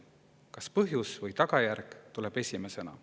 Kas esimesena tuleb põhjus või tagajärg?